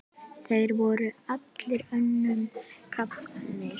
Þeir voru allir önnum kafnir.